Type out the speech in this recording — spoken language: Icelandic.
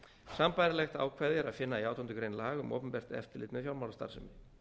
sambærilegt ákvæði er að finna í átjándu grein laga um opinbert eftirlit með fjármálastarfsemi